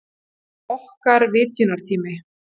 Það er okkar vitjunartími.